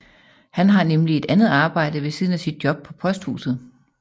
Han har nemlig et andet arbejde ved siden af sit job på posthuset